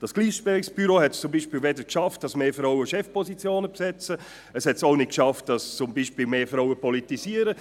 Dieses Gleichstellungsbüro hat es zum Beispiel weder geschafft, dass mehr Frauen Chefpositionen besetzen, noch dass mehr Frauen politisieren.